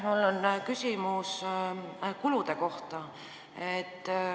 Mul on küsimus kulude kohta.